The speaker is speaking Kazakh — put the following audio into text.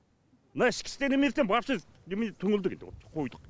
мына ішкі істер немесіне вообще немене түңілдік енді қойдық